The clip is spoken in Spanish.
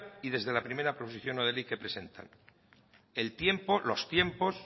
y desde la primera posición no de ley que presentan el tiempo los tiempos